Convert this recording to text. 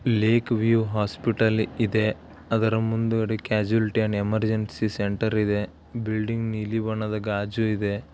ಇಲ್ಲಿ ಕ್ಯೂರಿಯೋ ಹಾಸ್ಪಿಟಲ್ ಇದೆ ಅದರ ಮುಂದುಗಡೆ ಕ್ಯಾಶುಯಾಲಿಟಿ ಅಂಡ್ ಎಮರ್ಜೆನ್ಸಿ ಸೆಂಟರ್ ಇದೆ ಬಿಲ್ಡಿಂಗ್ ನೀಲಿ ಬಣ್ಣದ ಗಾಜು ಇದೆ.